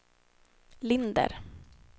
Linder